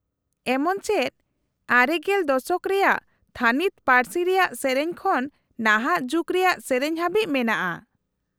-ᱮᱢᱚᱱ ᱪᱮᱫ ᱙᱐ ᱫᱚᱥᱚᱠ ᱨᱮᱭᱟᱜ ᱛᱷᱟᱹᱱᱤᱛ ᱯᱟᱹᱨᱥᱤ ᱨᱮᱭᱟᱜ ᱥᱮᱹᱨᱮᱹᱧ ᱠᱷᱚᱱ ᱱᱟᱦᱟᱜ ᱡᱩᱜ ᱨᱮᱭᱟᱜ ᱥᱮᱹᱨᱮᱹᱧ ᱦᱟᱹᱵᱤᱡ ᱢᱮᱱᱟᱜ=ᱟ᱾